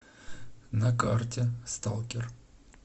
на карте сталкер